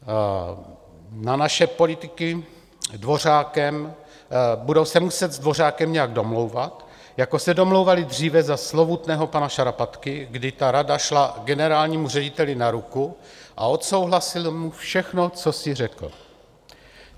Na naše politiky - budou se muset s Dvořákem nějak domlouvat, jako se domlouvali dříve za slovutného pana Šarapatky, kdy ta rada šla generálnímu řediteli na ruku a odsouhlasili mu všechno, co si řekl.